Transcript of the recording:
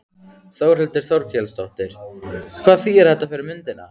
Þórhildur Þorkelsdóttir: Hvað þýðir þetta fyrir myndina?